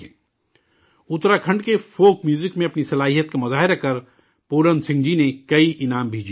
اتراکھنڈ کے folk music میں اپنی صلاحیت کا مظاہرہ کرکے پورن سنگھ جی نے کئی انعامات بھی جیتے ہیں